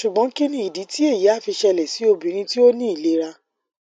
sugbon kini idi ti eyi a fi sele si obinrin ti o ni ilera